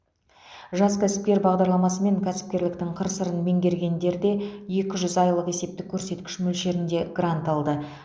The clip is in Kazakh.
жас кәсіпкер бағдарламасымен кәсіпкерліктің қыр сырын меңгергендер де екі жүз айлық есептік көрсеткіш мөлшерінде грант алды